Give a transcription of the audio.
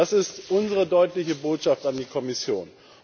Das ist unsere deutliche Botschaft an die Kommission.